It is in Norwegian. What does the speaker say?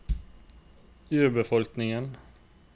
urbefolkningen